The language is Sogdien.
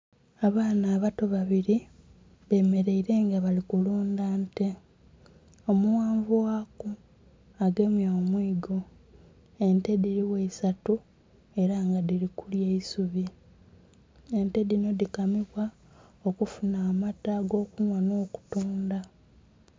Abaana abato babili bemeleile nga bali kulundha nte. Omughanvu ghaku agemye omwiigo. Ente dhili gho isatu ela nga dhili kulya eisubi. Ente dhinho dhikamibwa okufunha amata agokunhwa nh'okutundha.